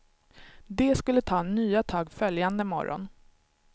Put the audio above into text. De skulle ta nya tag följande morgon.